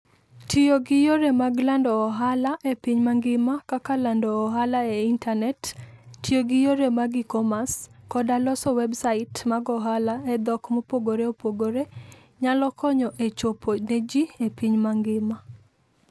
Tiyo gi yore mag lando ohala e piny mangima kaka lando ohala e intanet, tiyo gi yore mag e-commerce, koda loso websait mag ohala e dhok mopogore opogore, nyalo konyo e chopo ne ji e piny mangima.